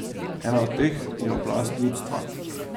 Ena od teh je oblast ljudstva.